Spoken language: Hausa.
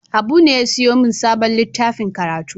Habu ne ya sayo min sabon littafin karatu.